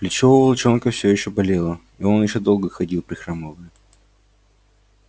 плечо у волчонка всё ещё болело и он ещё долго ходил прихрамывая